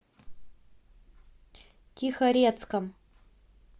тихорецком